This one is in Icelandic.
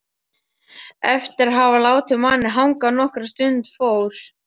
Eftir að hafa látið manninn hanga nokkra stund fór